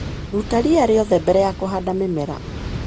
Ruta ria rĩothe mbere ya kũhanda mĩmera.